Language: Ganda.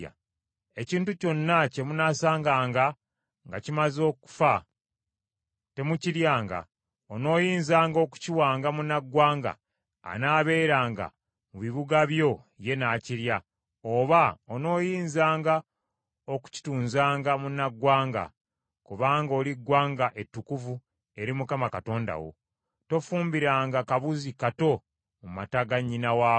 Ekintu kyonna kye munaasanganga nga kimaze okufa, temukiryanga. Onooyinzanga okukiwanga munnaggwanga anaabeeranga mu bibuga byo ye n’akirya, oba onooyinzanga okukitunzanga munnaggwanga. Kubanga oli ggwanga ettukuvu eri Mukama Katonda wo. Tofumbiranga kabuzi kato mu mata ga nnyina waako.